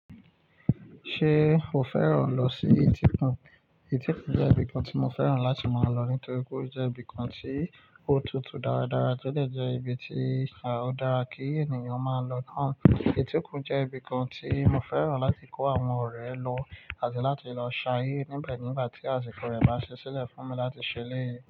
Ṣé o fẹ́ràn lọ sí Etíkun? Etíkun jẹ́ ibìkan tí mo fẹ́ràn láti máa lọ nítorí pé ó jẹ́ ibìkan tí ó tutù dáradára to de jẹ́ ibi tí, ó dára kí ènìyàn máa lọ. Etíkun jẹ́ ibìkan tí mo fẹ́ràn láti kó àwọn ọ̀rẹ́ lọ àti láti lọ ṣayé níbẹ̀ nígbà tí àsìkò rẹ̀ bá ṣi sílẹ̀ fún mi láti ṣèleyi.